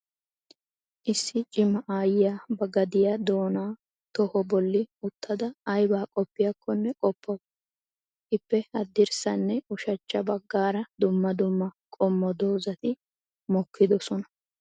Issi cima aayyiya ba gadiyaa doona toho bolli uttada aybba qopoyakkonne qopawusu. Ippe haddirssanne ushachcha baggaara dumma dumma qommo doozati mokkidoosona